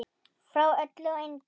Frá öllu og engu.